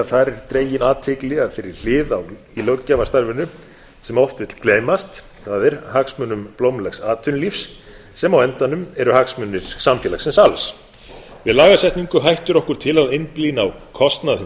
er dregin athygli að þeirri hlið í löggjafarstarfinu sem oft vill gleymast það er hagsmunum blómlegs atvinnulífs sem á endanum eru hagsmunir samfélagsins alls við lagasetningu hættir okkur til að einblína á kostnað hins